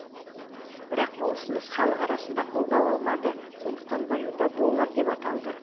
бірақ бұл ұсыныс халық арасында қолдау алмады сондықтан валюта доллар деп аталды